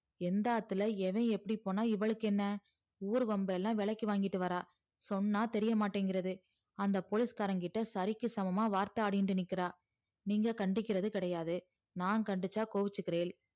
எந்த ஆத்துல ஏவ எப்படி போனா இவளுக்கு என்ன ஊரு வம்பல்லா விளைக்கி வாங்கிட்டு வரா சொன்னா தெரியமாட்டிங்கறது அந்த police கார கிட்ட சரிக்கி சமமா வார்த்த ஆடிகிட்டு இருக்கா நீங்க கண்டிக்கிறது கிடையாது நான் கண்டிச்சா கோச்சிகிறேல்